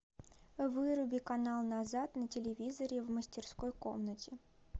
выруби канал назад на телевизоре в мастерской комнате